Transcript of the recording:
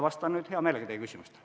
Vastan nüüd hea meelega teie küsimustele.